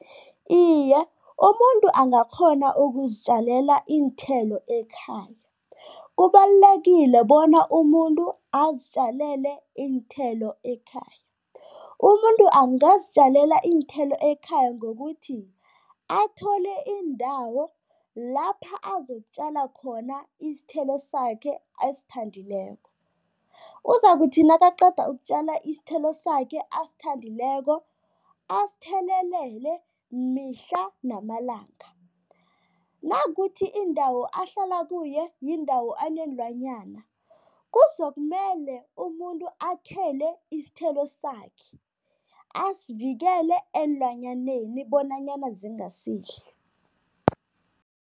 Iye, umuntu angakghona ukuzitjalela iinthelo ekhaya. Kubalulekile bona umuntu azitjalele iinthelo ekhaya. Umuntu angazitjalela iinthelo ekhaya ngokuthi athole indawo lapha azokutjala khona isithelo sakhe asithandileko. Uzakuthi nakaqeda ukutjala isithelo sakhe asithandileko, asithelelele mihla namalanga. Nakukuthi indawo ahlala kuyo yindawo enenlwanyana, kuzokumele umuntu akhele isithelo sakhe, asivikele eenlwanyaneni bonanyana zingasidli.